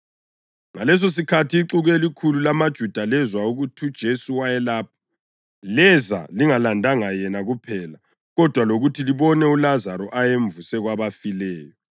Ngalesosikhathi ixuku elikhulu lamaJuda lezwa ukuthi uJesu wayelapho, leza lingalandanga yena kuphela kodwa lokuthi libone uLazaro ayemvuse kwabafileyo.